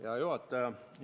Hea juhataja!